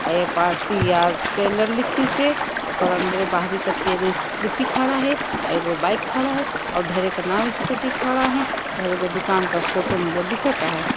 --पापिया tailor लिखी से ओकर अंदर बहारें कटे कोई स्कूटी खड़ा है और आउए एगो बाइक खड़ा है और ढेरों नाल स्कूटी खड़ा है एगो को दुकान का फोटो भी दिखत है।